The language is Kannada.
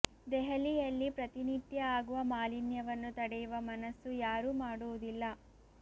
ದೆಹಲಿಯಲ್ಲಿ ಪ್ರತಿ ನಿತ್ಯ ಆಗುವ ಮಾಲಿನ್ಯವನ್ನು ತಡೆಯುವ ಮನಸ್ಸು ಯಾರೂ ಮಾಡುವುದಿಲ್ಲ